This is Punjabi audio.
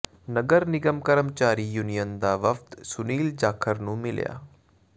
ਨਗਰ ਨਿਗਮ ਕਰਮਚਾਰੀ ਯੂਨੀਅਨ ਦਾ ਵਫ਼ਦ ਸੁਨੀਲ ਜਾਖੜ ਨੂੰ ਮਿਲਿਆ